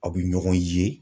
Aw bɛ ɲɔgɔn ye.